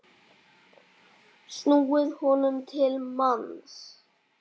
snúið honum til manns.